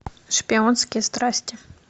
шпионские страсти